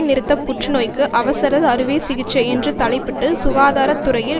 நிறுத்த புற்று நோய்க்கு அவசர அறுவை சிகிச்சை என்று தலைப்பிட்டு சுகாதார துறையில்